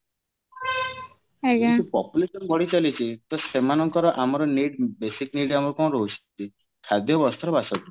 ଯଦି population ବଢି ଚାଲିଛି ତା ସେମାନଙ୍କର ଆମର need ବେଶିଉ need ଆମର କଣ ରହୁଛି ଖାଦ୍ଯ ବସ୍ତ୍ର ବାସଗୃହ